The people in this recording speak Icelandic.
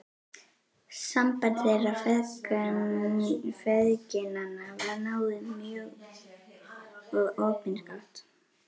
Samband þeirra feðginanna var náið mjög og opinskátt.